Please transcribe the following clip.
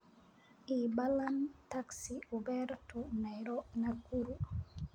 ii ballan taxi uber to nakuru